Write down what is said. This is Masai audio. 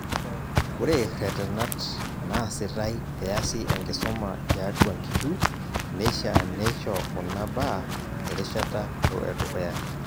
Ore retenat naasitae peeasi enkisuma tiatua nkihu neishaa neisho kuna baa erishata edukuya.